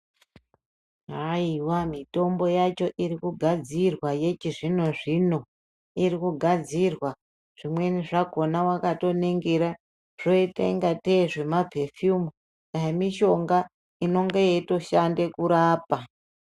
Haiwa mitombo yacho iri kugadzira yechizvino zvino iri kugadzirwa zvimweni zvakhona wakatoningira zvinoita ingatei zvimapefiyumi dai mishonga inenge yeitoshanda kurapa.